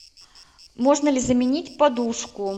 можно ли заменить подушку